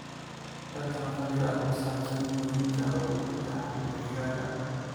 Hel talo khabiir ku saabsan quudinta ugu fiican ee digaagga.